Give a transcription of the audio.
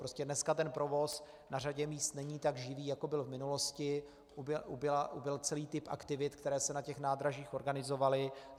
Prostě dneska ten provoz na řadě míst není tak živý, jako byl v minulosti, ubyl celý typ aktivit, které se na těch nádražích organizovaly.